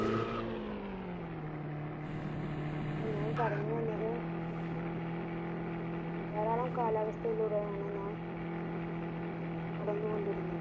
അത് ഞാൻ ഓറഞ്ചു വന്നത് ദാരാളം കാള്സവസ്ഥയിലൂടെയാണ് നടന്ന കൊണ്ടിരുന്നത്